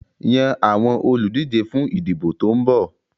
Yan àwọn olùdíje fún ìdìbò tó ń bọ̀.